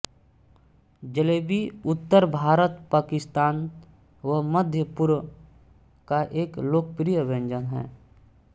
जलेबी उत्तर भारत पाकिस्तान व मध्यपूर्व का एक लोकप्रिय व्यंजन है